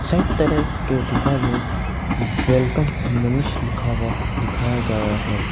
दाईं तरफ के दीवार में वेलकम मनीष लिखा हुआ दिखाया गया है।